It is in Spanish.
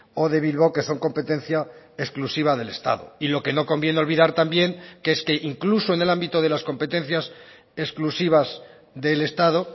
o de bilbao que son competencia exclusiva del estado y lo que no conviene olvidar también que es que incluso en el ámbito de las competencias exclusivas del estado